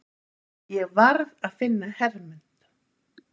Ég varð að finna Hermund.